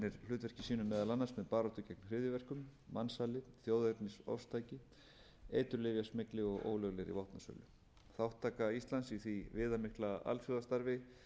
hlutverki sínu meðal annars með baráttu gegn hryðjuverkum mansali þjóðernisofstæki eiturlyfjasmygli og ólöglegri vopnasölu þátttaka íslands í því viðamikla alþjóðastarfi